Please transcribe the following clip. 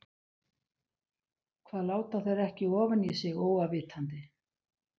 Hvað láta þeir ekki ofan í sig óafvitandi?